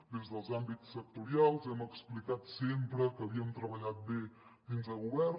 des dels àmbits sectorials hem explicat sempre que havíem treballat bé dins del govern